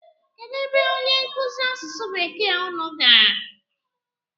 Kedụ ebe onye nkụzi asụsụ bekee unu gara?